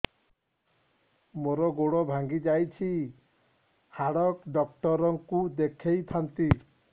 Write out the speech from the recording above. ମୋର ଗୋଡ ଭାଙ୍ଗି ଯାଇଛି ହାଡ ଡକ୍ଟର ଙ୍କୁ ଦେଖେଇ ଥାନ୍ତି